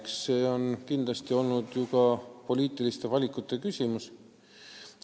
Eks see on kindlasti olnud poliitiliste valikute küsimus.